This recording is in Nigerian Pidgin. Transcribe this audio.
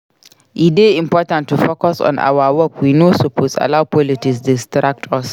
E dey important to focus on our work we no suppose allow politics distract us.